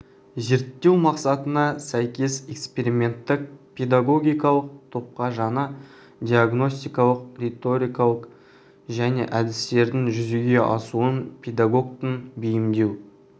зерттеу мақсатына сәйкес эксперименттік педагогикалық топқа жаңа диагностикалық риторика және әдістердің жүзеге асуын педагогтың бейімдеу